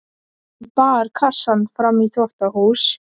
Hún bar kassann fram í þvottahús.